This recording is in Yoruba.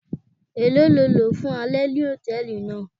Elo ni o lo fun alẹ ni hòtẹ́ẹ̀lì naa.